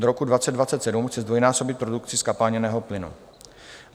Do roku 2027 chce zdvojnásobit produkci zkapalněného plynu.